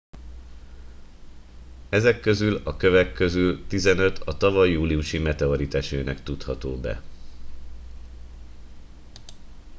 ezek közül a kövek közül tizenöt a tavaly júliusi meteoritesőnek tudható be